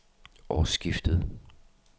årsskiftet